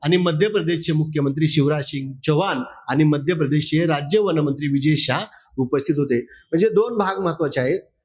आणि मध्यप्रदेशचे मुख्यमंत्री शिवराज सिंग चौव्हाण आणि मध्य प्रदेशचे राज्य वन मंत्री विजय शहा उपस्थित होते. म्हणजे दोन भाग महत्वाचे आहेत.